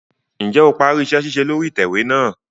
Njẹ o parí iṣẹ-ṣiṣe lórí itẹwe náà?